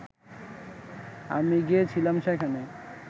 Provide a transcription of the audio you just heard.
আমি গিয়েছিলাম সেখানে